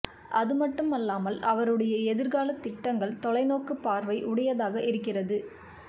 அதுமட்டுமல்லாமல் அவருடைய எதிர்காலத் திட்டங்கள் தொலைநோக்கு பார்வை உடையதாக இருக்கிறது